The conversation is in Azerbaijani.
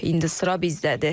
İndi sıra bizdədir.